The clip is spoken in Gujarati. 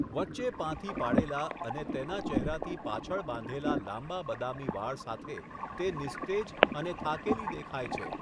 વચ્ચે પાથી પાળેલાં અને તેના ચહેરાથી પાછળ બાંધેલાં લાંબા બદામી વાળ સાથે તે નિસ્તેજ અને થાકેલી દેખાય છે.